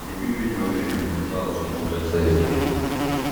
вруби видеофильм детсадовский полицейский